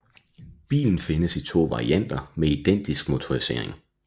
Bilen findes i to varianter med identisk motorisering